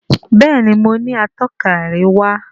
Béèni mọ ní Atọ́ka àríwá.